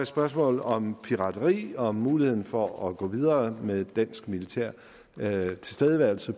spørgsmål om pirateri og om muligheden for at gå videre med dansk militær tilstedeværelse